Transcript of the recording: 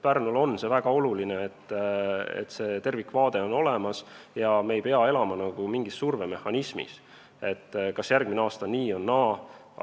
Pärnule on see väga oluline, et tervikvaade on olemas, me ei pea elama mingis survemehhanismis ega mõtlema, kas järgmisel aastal on nii või naa.